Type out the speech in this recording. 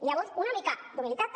llavors una mica d’humilitat també